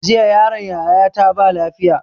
Jiya yaron yaya ta ba lafiya